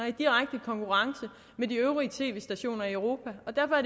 i direkte konkurrence med de øvrige tv stationer i europa